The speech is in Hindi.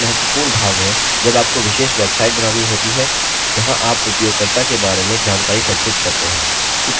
कुकीज़ एक महत्वपूर्ण भाग है जब आपको विशेष वेबसाइट बनानी होती है जहाँ आप उपयोगकर्ता के बारे में जानकारी संचित करते हैं